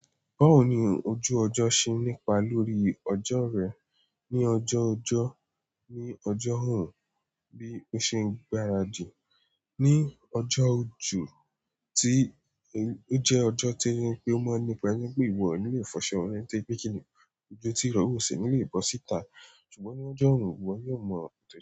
Báwo ni ojú ọjọ́ ṣe nípa lórí ọjọ́ rẹ̀ ní ọjọ́ ọjọ́, ní ọjọ́ òòrùn bí ó ṣe ń gbáràdì ní ọjọ́ òjò tí ó jẹ́ ọjọ́ tí ó mọ́ nípa nípè ìwọ nílé fọṣọ rẹ̀ tòrìpè kìnì, òòrùn tí rọ́ ò ṣi nílé bọ síta, ṣùgbọ́n ní ọjọ́ òrùn, ìwọ yóò mọ òótọ́